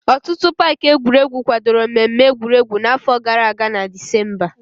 Ọtụtụ paaki egwuregu kwadoro mmemme egwuregwu n'afọ gara aga na Dizemba.